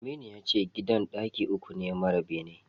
Aminu yace gidan ɗaki uku ne mara bene.